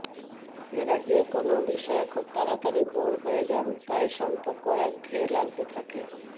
এরা যেকোনও বিষয়ে খুব তাড়াতাড়ি বোর হয়ে যান তাই সম্পর্কও একঘেয়ে লাগতে থাকে